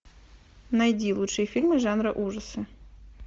найди лучшие фильмы жанра ужасы